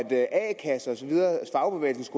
kasser og fagbevægelse